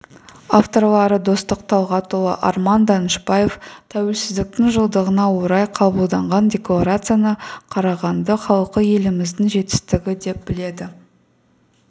авторлары достық талғатұлы арман данышбаев тәуелсіздіктің жылдығына орай қабылданған декларацияны қарағанды халқы еліміздің жетістігі деп біледі